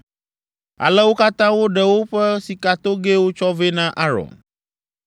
Ale wo katã woɖe woƒe sikatogɛwo tsɔ vɛ na Aron.